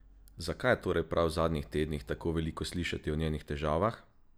Zakaj je torej prav v zadnjih tednih tako veliko slišati o njenih težavah?